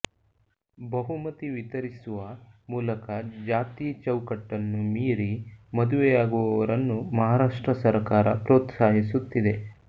ಬಹುಮತಿ ವಿತರಿಸುವ ಮೂಲಕ ಜಾತಿಯ ಚೌಕಟ್ಟು ಮೀರಿ ಮದುವೆಯಾಗುವವರನ್ನು ಮಹಾರಾಷ್ಟ್ರ ಸರಕಾರ ಪ್ರೋತ್ಸಾಹಿಸುತ್ತಿದೆ